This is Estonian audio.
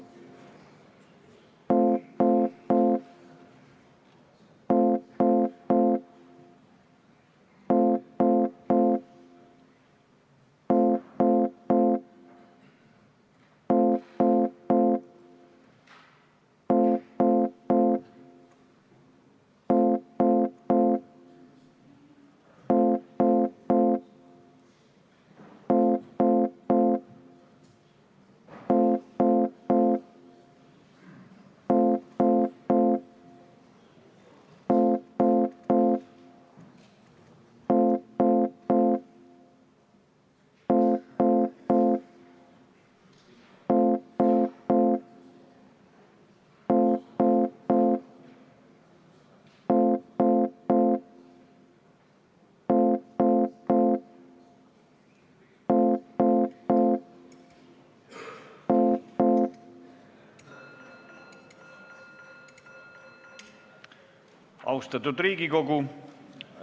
Austatud Riigikogu!